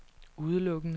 udelukkende